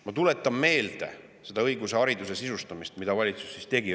Ma tuletan teile seda õigust ja hariduse sisustamist meelde, mida valitsus õigupoolest tegi.